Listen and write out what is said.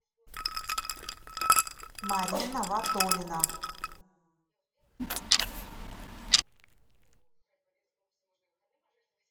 марина ватолина